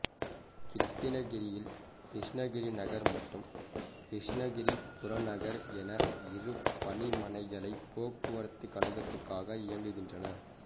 கிருட்டிணகிரியில் கிருஷ்ணகிரி நகர் மற்றும் கிருஷ்ணகிரி புறநகர் என இரு பணிமனைகளை் போக்குவரத்து கழகத்துக்காக இயங்குகின்றன